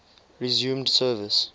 resumed service